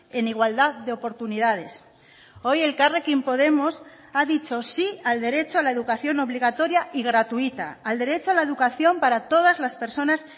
en igualdad de oportunidades hoy elkarrekin podemos ha dicho sí al derecho a la educación obligatoria y gratuita al derecho a la educación para todas las personas